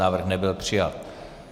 Návrh nebyl přijat.